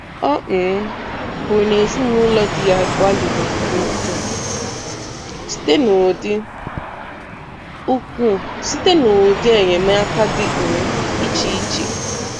O um kwuru na ezinụlọ di ya gbalịrị nke ukwuu site n'ụdị ukwuu site n'ụdị enyemaka dị um iche iche